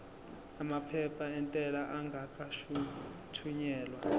amaphepha entela engakathunyelwa